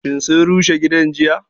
Shin sun rushe gidan jiya?